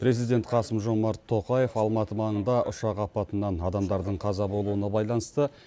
президент қасым жомарт тоқаев алматы маңында ұшақ апатынан адамдардың қаза болуына байланысты